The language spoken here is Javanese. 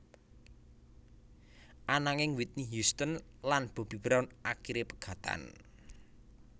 Ananging Whitney Houston lan Bobby Brown akiré pegatan